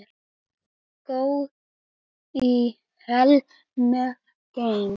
Guð í alheims geimi.